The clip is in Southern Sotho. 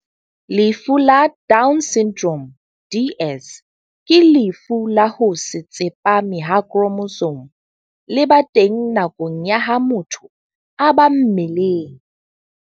Lefu la Down Syndrome DS ke lefu la ho se tsepame ha khromosome le ba teng nakong ya ha motho a ba mmeleng.